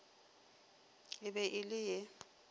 e be e le ye